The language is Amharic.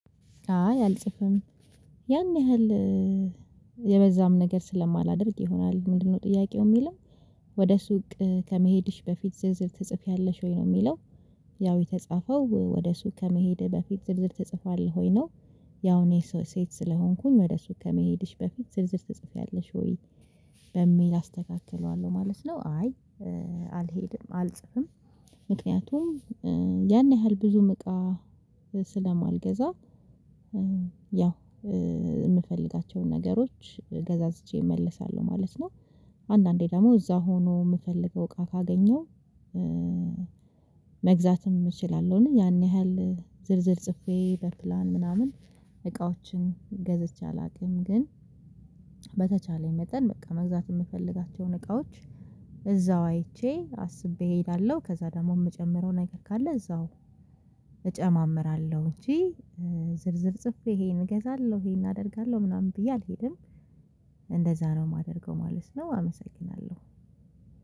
አይ አልጽፍም ያን ያህል የበዛም ነገር ስለማላደርግ ይሆናል። ምንድነው ጥያቄው የሚልም ወደ ሱቅ ከመሄድሽ በፊት ዝርዝር ትጽፊያለሽ ወይ ነው የሚለው? ያው የተጻፈው ወደ እሱ ከመሄድ በፊት ዝርዝር ተጽፏል ሆይ ነው። ያው እኔ ሰው ሴት ስለሆንኩኝ ወደ እሱ ከመሄድሽ በፊት ዝርዝር ትጽፊያለሽ ወይ በሚል አስተካክለዋለሁ ማለት ነው። አይ አልሄድም አልጽፍም ምክንያቱም ያን ያህል ብዙ መቃ ስለማልገዛ ያው የምፈልጋቸውን ነገሮች ገዛዝቼ እመለሳለሁ ማለት ነው። አንዳንዴ ደግሞ እዛ ሆኖ የምፈልገው እቃ ካገኘው መግዛትም እችላለሁን? ያን ያህል ዝርዝር ጽፌ በፕላን ምናምን እቃዎችን ገዝቼ አላውቅም። ግን በተቻለኝ መጠን በቃ መግዛት የምፈልጋቸውን እቃዎች እዛው አይቼ አስቤ እሄዳለሁ። ከዛ ደግሞ የምጨምረው ነገር ካለ እዛው እጨማምራለሁ እንጂ ዝርዝር ጽፌ ይሄን እገዛለሁ ይሄን አደርጋለሁ ምናምን ብዬ አልሄድም። እንደዛ ነው የማደርገው ማለት ነው። አመሰግናለሁ